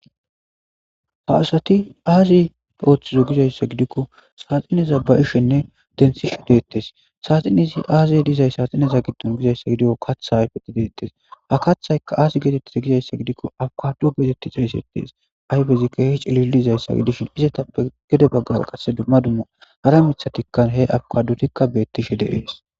Ha assati azzi othizzo gidayssa gidikko saxinezza ba'shenne denthishe dettees saxxinezza giddon aybbi dizze gikko kathi dizzees ha kathaykka azzi gizza giddikko abikaddo gtttettes ayffezi kehi cilizayssa gidishin ezattappe gedebagan dumma dumma harra mithatikka heabikaddottikka betishe dees.